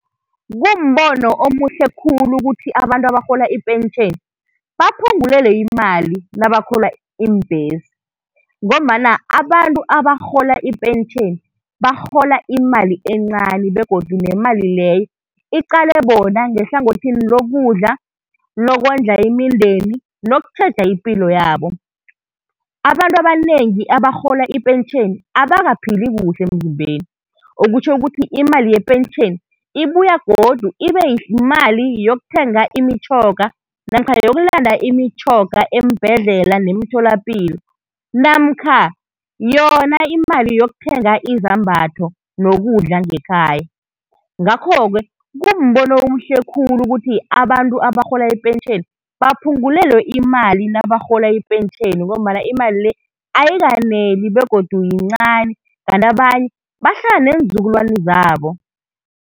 Kumbono omuhle khulu ukuthi abantu abarhola ipentjheni baphungulelwe imali nabakhwela iimbhesi, ngombana abantu abarhola ipentjheni barhola imali encani begodu nemali leyo iqale bona ngehlangothini lokudla, lokondla imindeni nokutjheja ipilo yabo. Abantu abanengi abarhola ipentjheni abakaphili kuhle emzimbeni, okutjho ukuthi imali yepentjheni ibuya godu ibe yimali yokuthenga imitjhoga, namkha yokulanda imitjhoga eembhedlela nemitholapilo, namkha yona imali yokuthenga izambatho nokudla ngekhaya. Ngakho-ke, kumbono omuhle khulu ukuthi abantu abarhola ipentjheni baphungulelwe imali nabarhola ipentjheni ngombana imali le ayikaneli begodu yincani, kanti abanye bahlala neenzukulwani zabo.